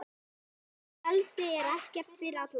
Frelsi er ekki fyrir alla.